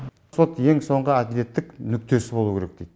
сот ең соңғы әділеттік нүктесі болу керек дейді